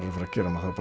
að fara að gera maður